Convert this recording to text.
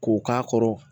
K'o k'a kɔrɔ